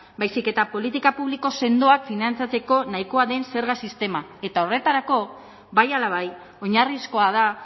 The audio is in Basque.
baizik eta politika publiko sendoak finantzatzeko nahikoa den zerga sistema eta horretarako bai ala bai oinarrizkoa da